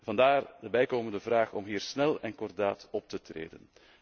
Vandaar de bijkomende vraag om hier snel en kordaat op te treden.